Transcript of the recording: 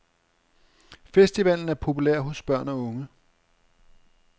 Festivalen er populær hos børn og unge.